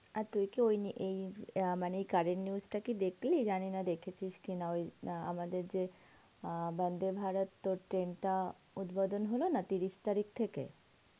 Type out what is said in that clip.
তুই কি ওই আ.. মানে কি curent news টা দেখলি জানি না দেখেছিস কি না ওই আমাদের যে অ্যাঁ বন্দেভারত তোর train টা উদ্বোধন হলো না তিরিশ তারিখ থেকে